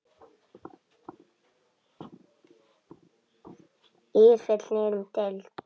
ÍR féll niður um deild.